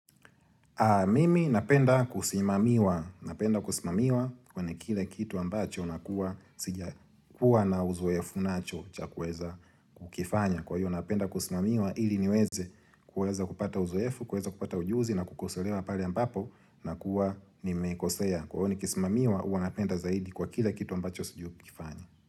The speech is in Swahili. Mimi napenda kusimamiwa, napenda kusimamiwa kwa ni kila kitu ambacho na kuwa sijakua na uzoefu nacho chakweza kukifanya. Kwa hiyo napenda kusimamiwa ili niweze kuweza kupata uzoefu, kuweza kupata ujuzi na kukosolewa pale ambapo na kuwa ni mekosea. Kwa hio ni kisimamiwa uanapenda zaidi kwa kile kitu ambacho sijui kukifanya.